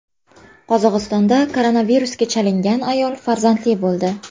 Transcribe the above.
Qozog‘istonda koronavirusga chalingan ayol farzandli bo‘ldi.